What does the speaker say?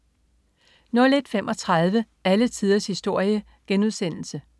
01.35 Alle tiders historie*